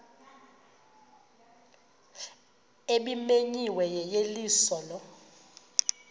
ebimenyiwe yeyeliso lo